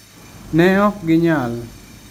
Ne ok ginyal.